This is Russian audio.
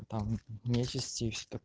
там месяц сти и все тако